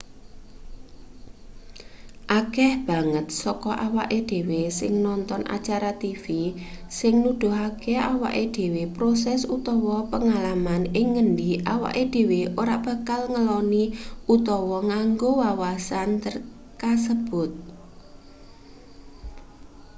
akeh banget saka awake dhewe sing nonton acara tv sing nuduhake awake dhewe proses utawa pengalaman ing ngendi awake dhewe ora bakal ngeloni utawa nganggo wawasan kasebut